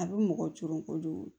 A bɛ mɔgɔ coron kojugu